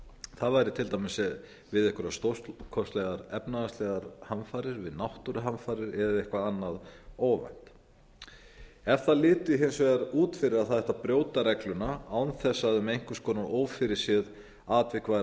það væri til dæmis við einhverra astórkostlegar efnahagslegar hamfarir við náttúruhamfarir eða eitthvað annað óvænt ef það liti hins vegar út fyrir að það ætti að brjóta regluna án þess að um einhvers konar ófyrirséð atvik væri